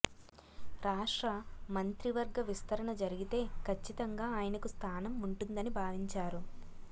రాష్ట్ర మంత్రివర్గ విస్తరణ జరిగితే కచ్చితంగా ఆయనకు స్థానం ఉంటుందని భావించారు